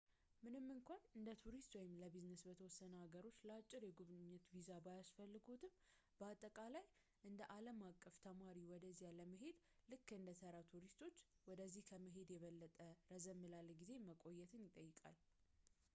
ምንም እንኳን እንደ ቱሪስት ወይም ለቢዝነስ በተወሰኑ ሀገሮች ለአጭር የጉብኝት ቪዛ ባያስፈልግዎትም ፣ በአጠቃላይ እንደ ዓለም አቀፍ ተማሪ ወደዚያ መሄድ፣ ልክ እንደ ተራ ቱሪስቶች ወደዚያ ከመሄድ የበለጠ ረዘም ላለ ጊዜ መቆየትን ይጠይቃል